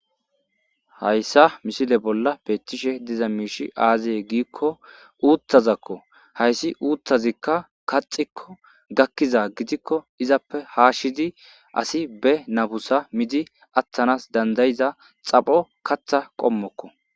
Haysa misile bolla beetishe dizay aaze gizaysa gidiko,uuthazako. Hayssi uuthazika kaxxiko,gakkiza gidiko,izappe haashidi asi be nafusa miidi atanas danda'iza xapho kaththa qommoko